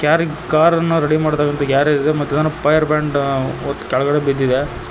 ಗ್ಯಾರ್ ಕಾರನ್ನು ರೆಡಿ ಮಾಡ್ತಕಾಂತಹ ಗ್ಯಾರೆಜು ಮತ್ತು ಫೈರ್ ಬ್ಯಾಂಡ್ ಒದ್ ಕೆಳ್ಗಡೆ ಬಿದ್ದಿದೆ.